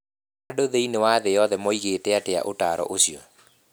Andũ thĩinĩ wa thĩ yothe moigĩte atĩa ũtaaro ũcio?